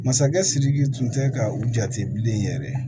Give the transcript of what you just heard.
Masakɛ sidiki tun tɛ ka u jate bilen yɛrɛ